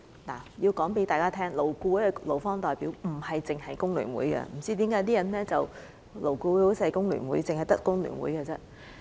我要告訴大家，勞顧會的勞方代表不止有工聯會，不知為何有些人認為勞顧會就只有工聯會代表。